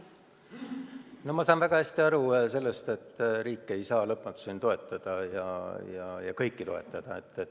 Ma saan väga hästi aru, et riik ei saa lõpmatuseni toetada ja kõiki toetada.